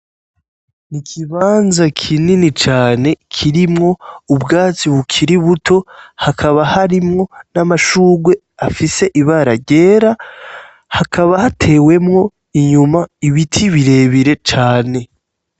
N'ikibanza kinini cane kirimwo ubwatsi bukiri buto hakaba harimwo n'amashurwe afise ibara ryera hakaba hatewemwo inyuma ibiti birebire cane.